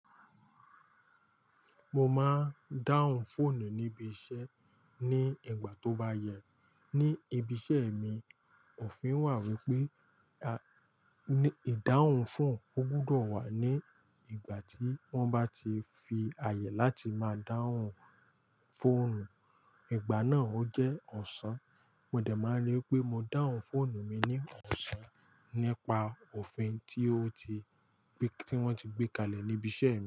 Mo máa ń dáhùn fóònù níbi iṣẹ́ ní ìgbà tó bá yẹ. Ni ibi iṣẹ́ mi, òfin wà wípé ìdáhùn fóònù ó gbọdọ̀ wà ní ìgbà tí wọ́n bá ti fi àyè láti máa dáhùn fóònù. Ìgbà náà ó jẹ́ ọ̀sán. Mo dẹ̀ máa ń ríi pé mo dáhùn fóònù mi ní ọ̀sán nípa òfin tí wọ́n ti gbé kalẹ̀ níbi iṣẹ́.